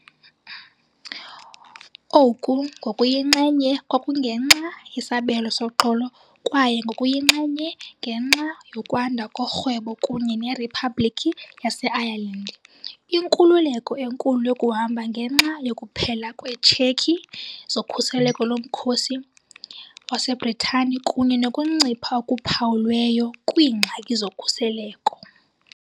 Oku ngokuyinxenye kwakungenxa "yesabelo soxolo" kwaye ngokuyinxenye ngenxa yokwanda korhwebo kunye neRiphabhlikhi yaseIreland, inkululeko enkulu yokuhamba ngenxa yokuphela kweetshekhi zokhuseleko lomkhosi waseBritane kunye nokuncipha okuphawulweyo kwiingxaki zokhuseleko.